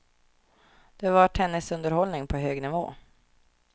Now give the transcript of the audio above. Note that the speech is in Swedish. Det var tennisunderhållning på hög nivå.